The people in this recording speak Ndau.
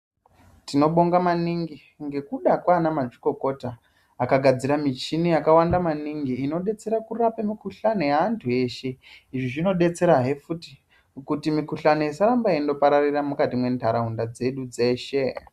Tinobonga maningi ngekuda kwanamadzokokota vakagadzira michini yakawanda maningi inodetsera kurape mikhuhlane ye antu veshe. Zvinodetsera futhi kuti mikhuhlane isaramba indopararira mukati mendarawunda idzi dzedu dzeshe.